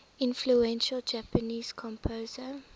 influential japanese composer